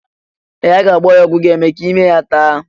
Ee! A ga-agba ya ọgwụ ga-eme ka ime mee ya taa.